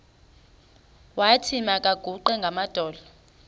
wathi makaguqe ngamadolo